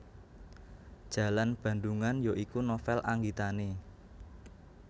Jalan Bandungan ya iku novel anggitane